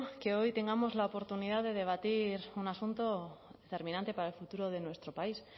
que hoy tengamos la oportunidad de debatir un asunto determinante para el futuro de nuestro país